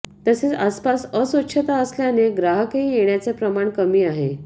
तसेच आसपास अस्वच्छता असल्याने ग्राहकही येण्याचे प्रमाण कमी आहे